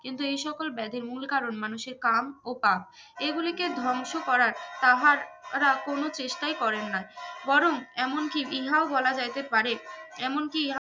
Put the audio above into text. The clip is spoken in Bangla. কিন্তু এইসকল ব্যাধির মুল কারন মানুষের কাম ও পাপ এইগুলিকে ধ্বংস করার তাহারা কোনো চেষ্টাই করেন না বরং এমনকি ইনাহ বলা যাইতে পারে এমনকি ইহা